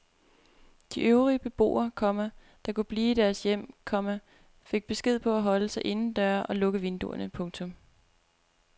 De øvrige beboere, komma der kunnne blive i deres hjem, komma fik besked på at holde sig inden døre og lukke vinduerne. punktum